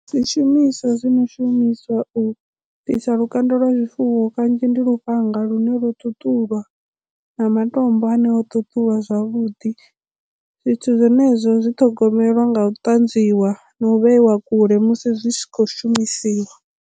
Zwishumiswa zwi no shumiswa u bvisa lukanda lwa zwifuwo kanzhi ndi lufhanga lune lwo ṱuṱula na matombo ane o ṱuṱula zwavhuḓi zwithu zwenezwo zwi ṱhogomela nga u tanzwiwa na u vheiwa kule musi zwi tshi khou shumisiwa.